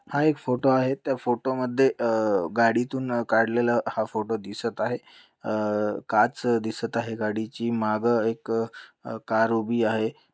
हा एक फोटो आहे. त्या फोटो मध्ये अ गाडीतून काढलेल हा फोटो दिसत आहे. अ काच दिसत आहे. गाडीची माग एक अ कार उभी आहे.